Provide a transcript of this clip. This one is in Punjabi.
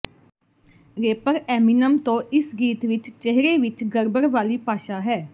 ਰੇਪਰ ਐਮਿਨਮ ਤੋਂ ਇਸ ਗੀਤ ਵਿਚ ਚਿਹਰੇ ਵਿਚ ਗੜਬੜ ਵਾਲੀ ਭਾਸ਼ਾ ਹੈ